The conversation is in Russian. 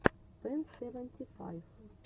пэн сэвэнти файв